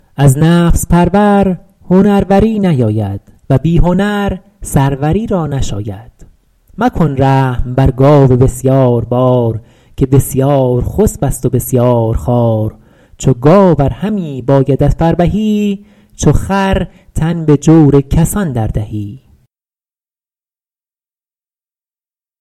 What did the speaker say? از نفس پرور هنروری نیاید و بی هنر سروری را نشاید مکن رحم بر گاو بسیاربار که بسیارخسب است و بسیارخوار چو گاو ار همی بایدت فربهی چو خر تن به جور کسان در دهی